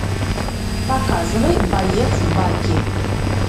показывай боец баки